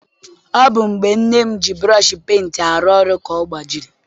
Ọ bụ mgbe nne m ji burọshi penti arụ ọrụ ka ọ gbajiri.